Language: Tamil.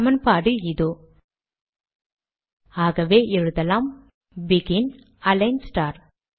சமன்பாடு இதோஆகவே எழுதலாம் பெகின் அலிக்ன் ஸ்டார்